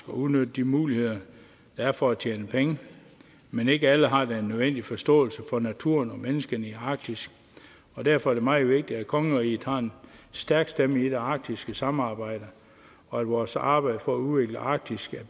udnytte de muligheder der er for at tjene penge men ikke alle har den nødvendige forståelse for naturen og menneskene i arktis og derfor er det meget vigtigt at kongeriget har en stærk stemme i det arktiske samarbejde og at vores arbejde for at udvikle arktis